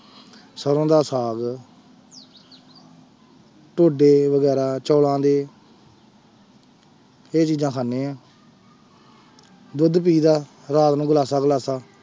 ਸਰੋਂ ਦਾ ਸਾਗ ਢੋਡੇ ਵਗ਼ੈਰਾ ਚੋਲਾਂ ਦੇ ਇਹ ਚੀਜ਼ਾਂ ਖਾਂਦੇ ਹਾਂ ਦੁੱਧ ਪੀਈਦਾ ਰਾਤ ਨੂੰ ਗਲਾਸਾ ਗਲਾਸਾ।